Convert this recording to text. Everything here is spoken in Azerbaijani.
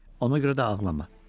Ona görə də ağlama.